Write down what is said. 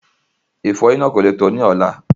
Ìfọyín náà kò le tó ní ọ̀la